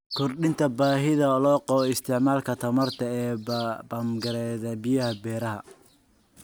Kordhinta baahida loo qabo isticmaalka tamarta ee bamgareynta biyaha beeraha.